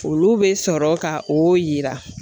Olu bɛ sɔrɔ ka o yira